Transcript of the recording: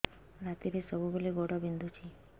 ରାତିରେ ସବୁବେଳେ ଗୋଡ ବିନ୍ଧୁଛି